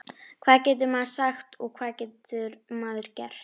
Hvað getur maður sagt og hvað getur maður gert?